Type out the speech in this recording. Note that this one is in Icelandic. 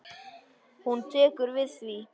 Hún tekur við því.